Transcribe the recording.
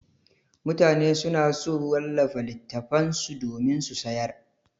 Mutane suna so su wallafa littattafan su domin su sayar.